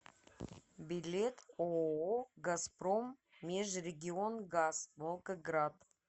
билет ооо газпром межрегионгаз волгоград